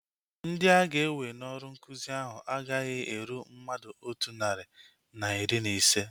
Ndị aga-ewe n'ọrụ nkụzi ahu agaghị eru mmadụ otu narị na iri na ise